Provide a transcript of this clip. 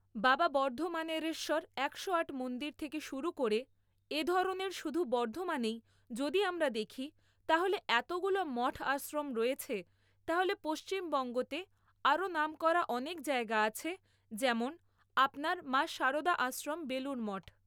বাবা বর্ধমানেরশ্বর একশো আট মন্দির থেকে শুরু করে এ ধরনের শুধু বর্ধমানেই যদি আমরা দেখি তাহলে এতগুলো মঠ আশ্রম রয়েছে তাহলে পশ্চিমবঙ্গতে আরও নাম করা অনেক জায়গা আছে যেমন আপনার মা সারদা আশ্রম বেলুরমঠ